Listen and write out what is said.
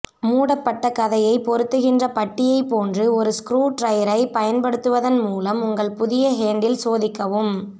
மூடப்பட்ட கதையைப் பொருத்துகின்ற பட்டியைப் போன்று ஒரு ஸ்க்ரூட்ரைரை பயன்படுத்துவதன் மூலம் உங்கள் புதிய ஹேண்டில் சோதிக்கவும்